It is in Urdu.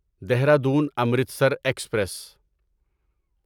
دہرادون امرتسر ایکسپریس